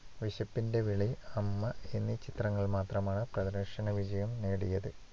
വിശപ്പിന്‍റെ വിളി, അമ്മ എന്നീ ചിത്രങ്ങൾ മാത്രമാണ് പ്രദർശനവിജയം നേടിയത്.